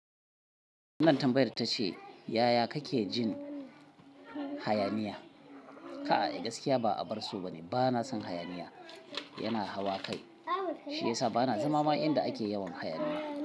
Nan Tambayan ta ce, "Yaya kake jin hayaniya?" Kai gaskiya ba a barso bane. Ba na san hayaniya, yana hawa kai. Shi ya sa ba na zama ma inda ake yawan hayaniya.